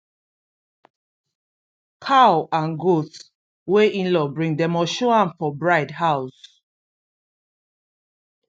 cow and goat wey inlaw bring dem must show am for bride house